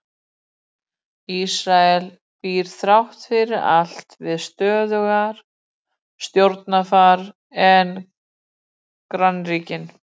Ísrael býr þrátt fyrir allt við stöðugra stjórnarfar en grannríkin.